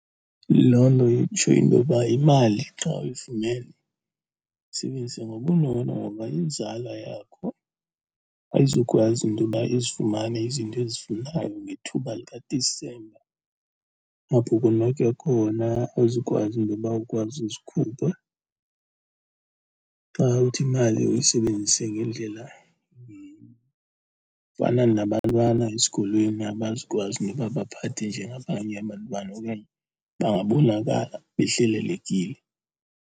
Loo nto itsho intoba imali xa uyifumene yisebenzise ngobunono ngoba inzala yakho ayizukwazi intoba izifumane izinto ezifanayo ngethuba likaDisemba. Apho konwatywa khona awuzokwazi intoba ukwazi uzikhupha xa uthi imali uyisebenzise ngendlela. Fana nabantwana esikolweni, abazukwazi intoba baphathe njengabanye abantwana okanye bangabonakala behlelelekile.